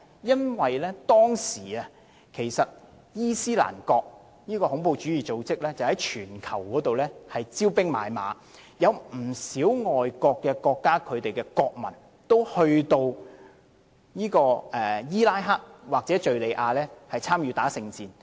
因為當時恐怖主義組織伊斯蘭國在全球招兵買馬，不少外國國家的國民也前往伊拉克或敘利亞參與聖戰。